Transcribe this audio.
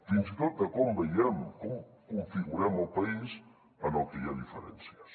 fins i tot de com veiem com configurem el país en què hi ha diferències